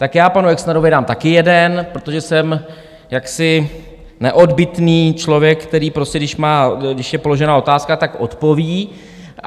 Tak já panu Exnerovi dám taky jeden, protože jsem jaksi neodbytný člověk, který prostě když je položena otázka, tak odpoví.